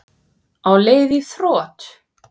Á leið í þrot